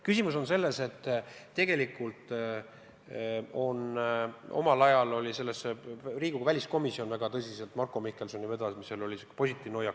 Küsimus on selles, et omal ajal Riigikogu väliskomisjon väga tõsiselt Marko Mihkelsoni vedamisel võttis positiivse hoiaku.